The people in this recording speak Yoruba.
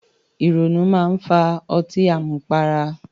Ìrònú máa ń fa ọtí àmupara